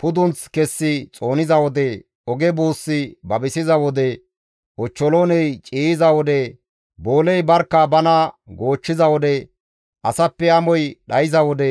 pudunth kessi xooniza wode, oge buussi babisiza wode, ochcholooney ciiyiza wode, booley barkka bana goochchiza wode, asappe amoy dhayza wode